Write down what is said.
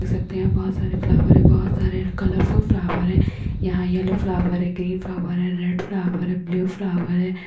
देख सकते हैं बहोत सारे फ्लावर है। बहोत सारे कलरफुल फ्लावर हैं यहाँ येलो फ्लावर ग्रीन और रेड फ्लावर है। ब्लू फ्लावर है।